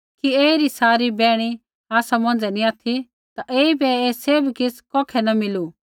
कि ऐईरी सारी बैहणी आसा बिच़ै नी ऑथि ता ऐईबै ऐ सैभ किछ़ कौखै न मिलू